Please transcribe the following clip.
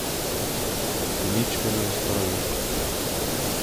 Nič me ne ustavi.